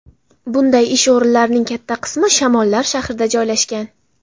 Bunday ish o‘rinlarining katta qismi Shamollar shahrida joylashgan.